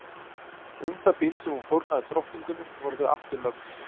Um það bil sem hún fórnaði drottningunni voru þau aftur lögst.